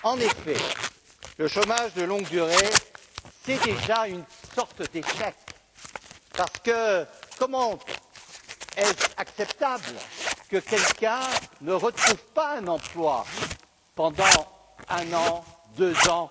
En effet, le chômage de longue durée, c'est déjà une sorte d'échec, parce que comment est ce acceptable que quelqu'un ne retrouve pas un emploi pendant un an, deux ans?